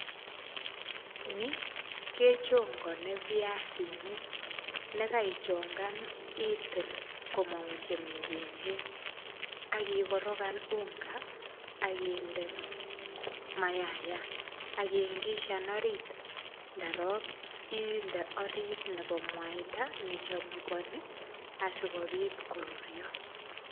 Ni kechongane viasinik, nekaichongan itil komangu chemengechen ak igoroganunga ak inde mayayat. Ak ingishan orit ndorok inde orit nebo meita nechumugani asigopit korurio.